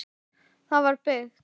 Það var byggt